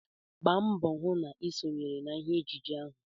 Gba mbọ hụ na ị sonyere ha mee ejije ahụ!